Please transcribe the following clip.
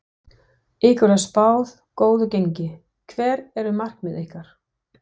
Ykkur er spáð góðu gengi, hver eru markmið ykkar?